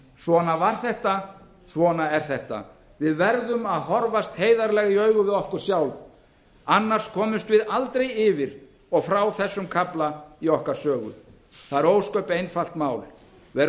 svona var þetta svona er þetta við verðum að horfast heiðarlega í augu við okkur sjálf annars komumst við aldrei yfir og frá þessum kafla í okkar sögu það er ósköp einfalt mál verum